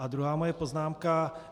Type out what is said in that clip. A druhá moje poznámka.